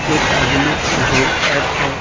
एक आदमी है जो बैठकर--